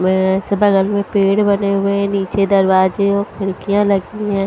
में सुबह लाइन में पेड़ कटे हुए है नीचे दरवाज़े खिड़कियां लगी हुई है।